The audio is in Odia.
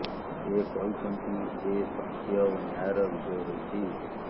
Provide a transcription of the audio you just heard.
ସେ କହିଛନ୍ତି ଯେ ସତ୍ୟ ଓ ନ୍ୟାୟର ବିଜୟ ହୋଇଛି